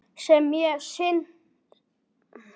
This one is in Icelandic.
Sem er synd segir hann.